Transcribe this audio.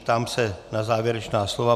Ptám se na závěrečná slova.